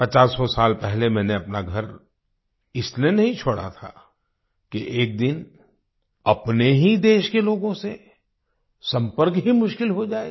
पचासों साल पहले मैंने अपना घर इसलिए नहीं छोड़ा था कि एक दिन अपने ही देश के लोगों से संपर्क ही मुश्किल हो जायेगा